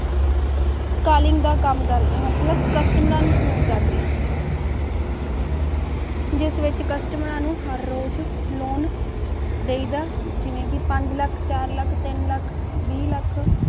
colleague ਦਾ ਕਾਮ ਕਰਦੀ ਹਨ ਮਤਲਬ ਨੂੰ ਕਸਟਮਰਾ ਨੂੰ ਫੋਨ ਕਰਦੀ ਹਨ ਜਿਸ ਵਿੱਚ ਮਈ ਨੂੰ ਹਰ ਰੋਜ਼ ਲੋਨ ਦੇ ਦਾ ਜਿਸ ਵਿਚ ਹਰ ਰੋਜ਼ ਪੰਜ ਲੱਖ ਚਾਰ ਲੱਖ ਟੀਨ ਲੱਖ ਵੀ ਲੱਖ